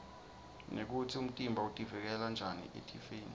nekutsi umtimba utivikela njani etifeni